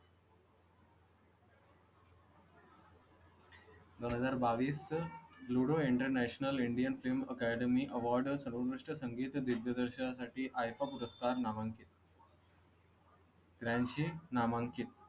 दोन हजार बावीस ludo international indian film academy award सर्व संगीत दिग्दर्शकांसाठी iifa पुरस्कार नामांकित रांची नामांकीत.